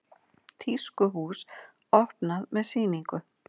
Tískuhús opnað með sýningu